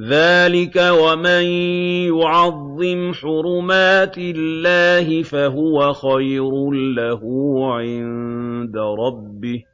ذَٰلِكَ وَمَن يُعَظِّمْ حُرُمَاتِ اللَّهِ فَهُوَ خَيْرٌ لَّهُ عِندَ رَبِّهِ ۗ